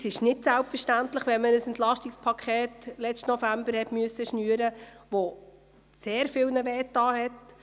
Das ist nicht selbstverständlich, nachdem man letzten November ein Entlastungspaket (EP) schnüren musste, das sehr viele geschmerzt hat.